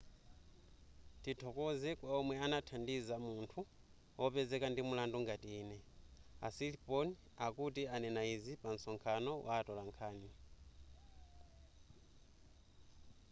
tithokoze kwa omwe anathandiza munthu wopezeka ndi mlandu ngati ine a siriporn akuti ananena izi pa nsonkhano wa atolankhani